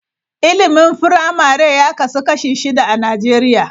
Ilimin firamare ya kasu kashi shida a Najeriya.